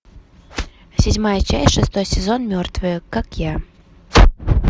седьмая часть шестой сезон мертвые как я